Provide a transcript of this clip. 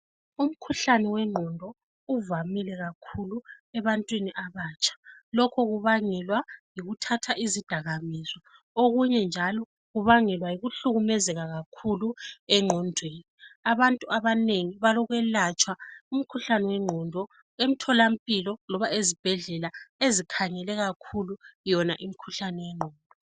Umkhuhlane wengqondo uvamile kakhulu ebantwini abatsha .Lokho kubangelwa yikuthatha izidakamizwa .Okunye njalo kubangelwa yikuhlukumezeka kakhulu engqondweni . Abantu abanengi balokwelatshwa umkhuhlane wengqondo emtholampilo loba ezibhedlela ezikhangele kakhulu yona imkhuhlane yengqondo .